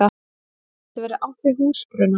Eins gæti verið átt við húsbruna.